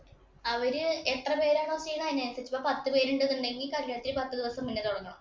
അവര് എത്ര പേരാണോ ചെയ്യുന്ന അതിനനുസരിച്ച് പത്ത് പേരുണ്ടെങ്കില്‍ കല്യാണത്തിന് പത്ത് ദിവസം മുന്നേ തുടങ്ങാം.